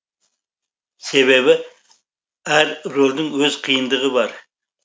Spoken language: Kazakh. себебі әр рөлдің өз қиындығы бар